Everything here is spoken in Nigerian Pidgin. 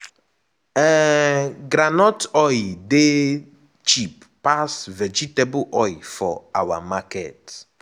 um groundnut oil dey cheap pass vegetable oil for our market.